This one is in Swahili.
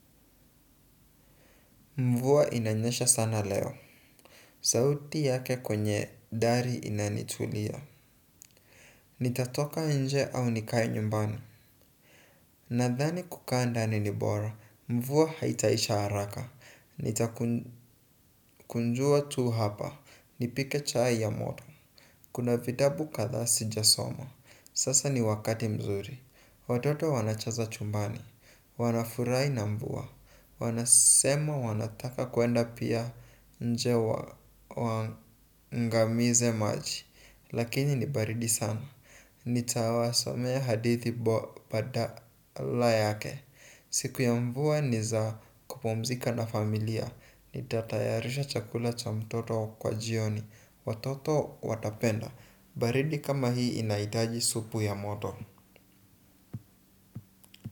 Mvua inanyesha sana leo. Sauti yake kwenye dari inanitulia. Nitatoka nje au nikae nyumbani. Nadhani kukaa ndani ni bora. Mvua haitaisha haraka. Nitakunjua tu hapa. Nipike chai ya moto. Kuna vitabu kadhaa sijasoma. Sasa ni wakati mzuri. Watoto wanacheza chumbani. Wanafurahi na mvua. Wanasema wanataka pia kuenda nje waangamize maji. Lakini ni baridi sana. Nitawasomea hadithi badala yake. Siku ya mvua ni za kupumzika na familia. Nitatayarisha chakula cha mtoto kwa jioni. Watoto watapenda. Baridi kama hii inahitaji supu ya moto.